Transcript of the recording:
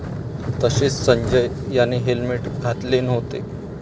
तसेच संजय याने हेल्मेट घातले नव्हते.